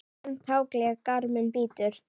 Grimmt haglél garminn bítur.